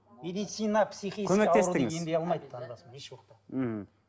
медицина көмектестіңіз еш уақытта ммм